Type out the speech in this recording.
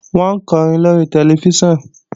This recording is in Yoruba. Wọ́n ń kọrin lóri tẹlifíṣàn